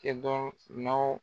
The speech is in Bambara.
Kɛ dɔn firinawɔ